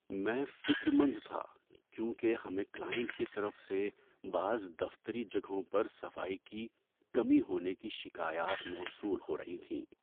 میں فکرمند تھا کیونکہ ہمیں کلائنٹ کی طرف سے بعض دفتری جگہوں پر صفائی کی کمی ہونے کی شکایات موصول ہو رہی تھیں۔